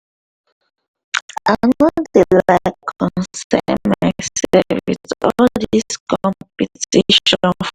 i no dey like consyn myself with all dis competition